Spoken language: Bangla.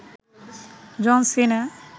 জন সিনা